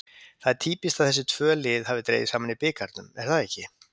Það er týpískt að þessi tvö lið hafi dregist saman í bikarnum, er það ekki?